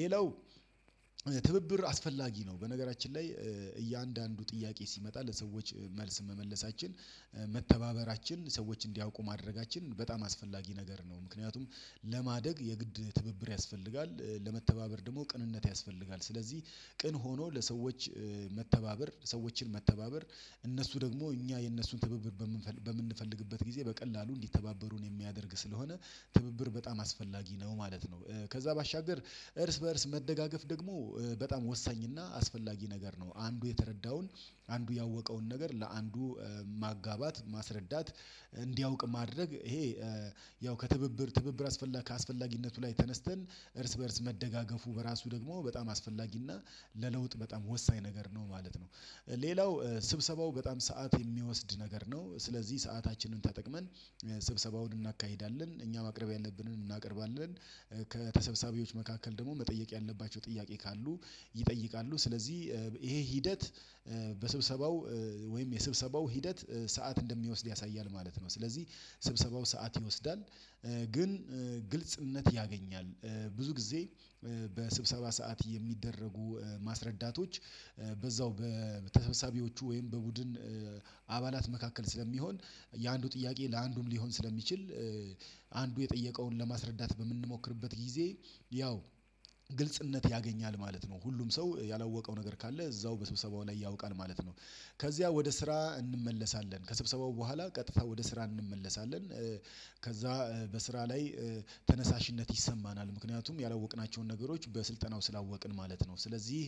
ሌላው ትብብር አስፈላጊ ነው። በነገራችን ላይ እያንዳንዱ ጥያቄ ሲመጣ ለሰዎች መልስ መመለሳችን መተባበራችን ሰዎች እንዲያውቁ ማድረጋችን በጣም አስፈላጊ ነገር ነው። ምክንያቱም ለማደግ የግድ ትብብር ያስፈልጋል። ለመተባበር ደግሞ ቅንነት ያስፈልጋል። ስለዚህ ቅን ሆኖ ለሰዎች መተባበር ሰዎችን መተባበር እነሱ ደግሞ እኛ የእነሱን ትብብር በምንፈልግበት ጊዜ በቀላሉ እንዲተባበሩን የሚያደርግ ስለሆነ ትብብር በጣም አስፈላጊ ነው ማለት ነው። ከዛ ባሻገር እርስ በእርስ መደጋገፍ ደግሞ በጣም ወሳኝና አስፈላጊ ነገር ነው። አንዱ የተረዳውን አንዱ ያወቀውን ነገር ለአንዱ ማጋባት ማስረዳት እንዲያውቅ ማድረግ ይሄ ያው ከትብብር ትብብር አስፈላጊ ከአስፈላጊነቱ ላይ ተነስተን እርስ በእርስ መደጋገፉ በራሱ ደግሞ በጣም አስፈላጊና ለለውጥ በጣም ወሳኝ ነገር ነው ማለት ነው። ሌላው ስብሰባው በጣም ሰዓት የሚወስድ ነገር ነው። ስለዚህ ሰአታችንን ተጠቅመን ስብሰባውን እናካሂዳለን እኛ ማቅረብ ያለብንን እናቀርባለን። ከተሰብሰቢዎች መካከል ደግሞ መጠየቅ ያለባቸው ጥያቄ ካሉ ይጠይቃሉ። ስለዚህ ይሄ ሂደት በስብሰባው ወይም የስብሰባው ሂደት ሰዓት እንደሚወስድ ያሳያል ማለት ነው። ስለዚህ ስብሰባው ሰዓት ይወስዳል። ግን ግልጽነት ያገኛል። ብዙ ጊዜ በስብሰባ ሰዓት የሚደረጉ ማስረዳቶች። በዛው በተሰባሳቢዎቹ ወይም በቡድን አባላት መካከል ስለሚሆን የአንዱ ጥያቄ ለአንዱም ሊሆን ስለሚችል አንዱ የጠየቀውን ለማስረዳት በምንሞክርበት ጊዜ ያው ግልጽነት ያገኛል ማለት ነው። ሁሉም ሰው ያላወቀው ነገር ካለ እዛው በስብሰባው ላይ ያውቃል ማለት ነው። ከዚያ ወደ ስራ እንመለሳለን ከስብሰባው በኋላ ቀጥታ ወደ ስራ እንመለሳለን። ከዛ በስራ ላይ ተነሳሽነት ይሰማናል ምክንያቱም ያላወቅናቸውን ነገሮች በስልጠናው ስላወቅን ማለት ነው። ስለዚህ